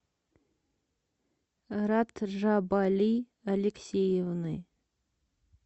раджабали алексеевны